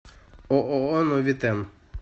ооо новитэн